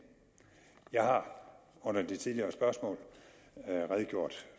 jeg har under det tidligere spørgsmål redegjort